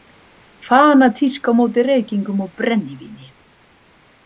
Fanatísk á móti reykingum og brennivíni.